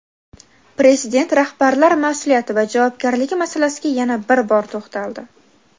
Prezident rahbarlar mas’uliyati va javobgarligi masalasiga yana bir bor to‘xtaldi.